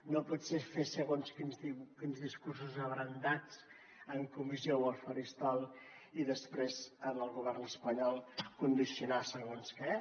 no pot ser fer segons quins discursos abrandats en comissió o al faristol i després en el govern espanyol condicionar segons què